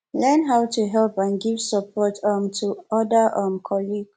learn how to help and give support um to oda um colleague